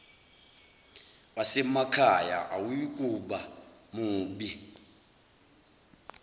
wasemakhaya awuyukuba mubi